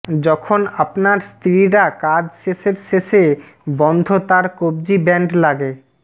যখন আপনার স্ত্রীরা কাজ শেষের শেষে বন্ধ তার কব্জি ব্যান্ড লাগে